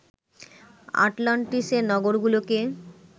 আটলান্টিসের নগরগুলোকে